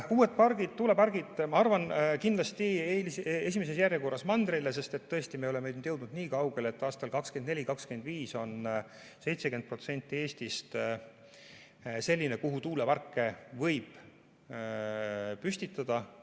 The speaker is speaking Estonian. Uued tuulepargid, ma arvan, tulevad esimeses järjekorras kindlasti mandrile, sest tõesti, me oleme jõudnud niikaugele, et aastail 2024–2025 on 70% Eestist selline, kuhu tuuleparke võib püstitada.